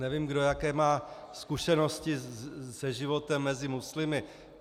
Nevím, kdo jaké má zkušenosti se životem mezi muslimy.